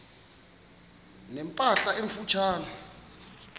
ne mpahla emfutshane